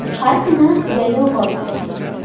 Har kuni yayov borib-kelamiz.